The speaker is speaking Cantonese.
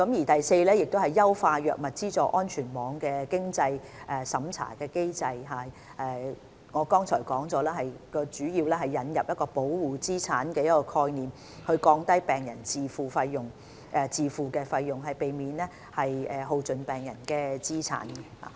第四，優化藥物資助安全網的經濟審查機制，正如我剛才說過，主要是引入保護資產概念，降低病人自付的費用，避免耗盡病人的資產。